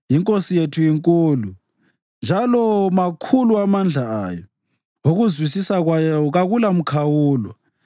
INkosi yethu inkulu, njalo makhulu amandla ayo; ukuzwisisa kwayo kakulamkhawulo.